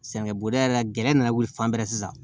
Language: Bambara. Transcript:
Sɛgɛnbɛ yɛrɛ la gɛrɛ nana wuli fan bɛɛ sisan